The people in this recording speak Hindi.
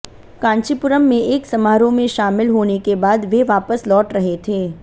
कांचीपुरम में एक समारोह में शामिल होने के बाद वे वापस लौट रहे थे